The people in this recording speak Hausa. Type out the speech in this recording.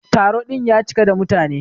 Taro din ya cika da mutane.